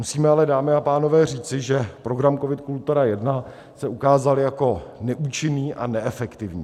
Musíme ale, dámy a pánové, říci, že program COVID - Kultura I, se ukázal jako neúčinný a neefektivní.